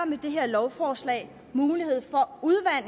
med det her lovforslag mulighed for